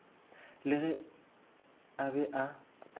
la ge a be a